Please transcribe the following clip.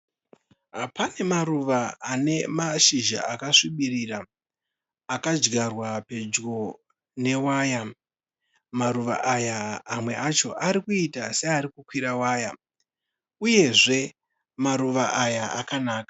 Pane maruva ane mashizha akasvibirira akadyarwa pedyo newaya. Maruva aya mamwe acho arikuita seari kukwira waya uyezve maruva aya akanaka.